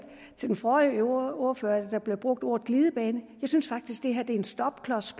den forrige ordfører brugte ordet glidebane jeg synes faktisk det her er en stopklods